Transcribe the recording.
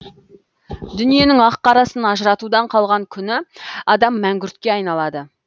дүниенің ақ қарасын ажыратудан қалған күні адам мәңгүртке айналады